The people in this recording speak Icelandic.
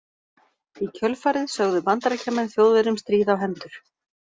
Í kjölfarið sögðu Bandaríkjamenn Þjóðverjum stríð á hendur.